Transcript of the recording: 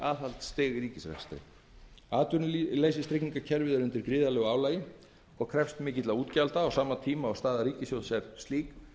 er okkur þröngur stakkur skorinn atvinnuleysistryggingakerfið er undir gríðarlegu álagi og krefst mikilla útgjalda á sama tíma og staða ríkissjóðs er slík